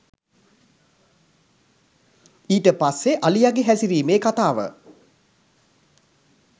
ඊට පස්සෙ අලියගෙ හැසිරීමේ කතාව